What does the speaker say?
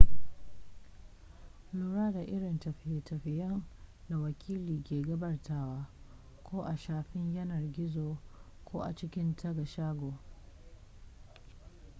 lura da irin tafiye-tafiyen da wakili ke gabatarwa ko a shafin yanar gizo ko a cikin taga shago